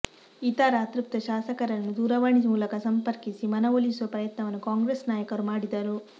ಇತರ ಅತೃಪ್ತ ಶಾಸಕರನ್ನು ದೂರವಾಣಿ ಮೂಲಕ ಸಂಪರ್ಕಿಸಿ ಮನವೊಲಿಸುವ ಪ್ರಯತ್ನವನ್ನು ಕಾಂಗ್ರೆಸ್ ನಾಯಕರು ಮಾಡಿದರು